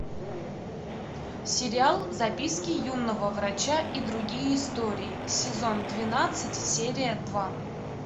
сериал записки юного врача и другие истории сезон двенадцать серия два